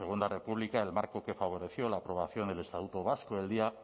segunda república el marco que favoreció la aprobación del estatuto vasco del día